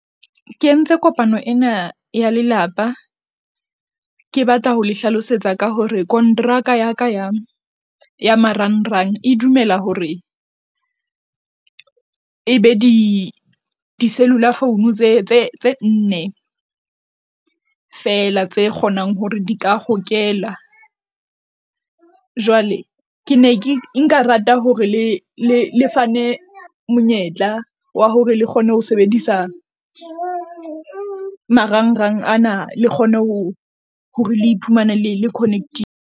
Ke entse kopano ena ya lelapa ke batla ho le hlalosetsa ka hore kontraka ya ka ya ya marang rang e dumela hore e be di di-cellular phone tse nne, fela tse kgonang hore di ka hokela. Jwale ke ne ke nka rata hore le le fane monyetla wa hore le kgone ho sebedisa marangrang ana, le kgone ho hore le iphumane le connect-ile.